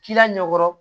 K'i la ɲɛkɔrɔ